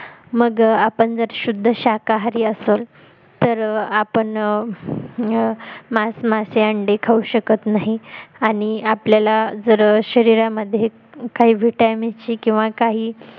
मग आपण जर शुद्ध शाकाहारी असेल तर आपण अं मांस मासे अंडे खाऊ शकत नाही आणि आपल्याला जर शरीरामध्ये काही vitamins ची किंवा काही